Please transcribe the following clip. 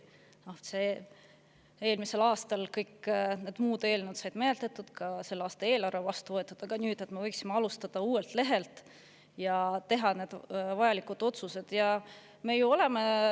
Eelmisel aastal said kõik need muud eelnõud menetletud, ka selle aasta eelarve vastu võetud, nüüd võiksime alustada uuelt lehelt ja vajalikud otsused ära teha.